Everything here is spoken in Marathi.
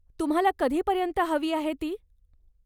तुम्हाला कधीपर्यंत हवी आहे ती?